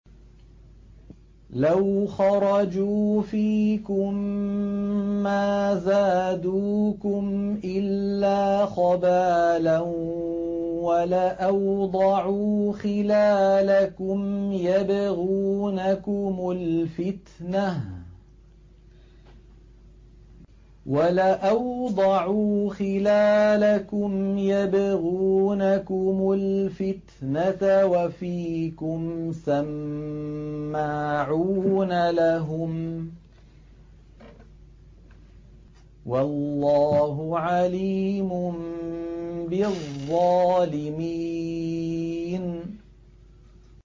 لَوْ خَرَجُوا فِيكُم مَّا زَادُوكُمْ إِلَّا خَبَالًا وَلَأَوْضَعُوا خِلَالَكُمْ يَبْغُونَكُمُ الْفِتْنَةَ وَفِيكُمْ سَمَّاعُونَ لَهُمْ ۗ وَاللَّهُ عَلِيمٌ بِالظَّالِمِينَ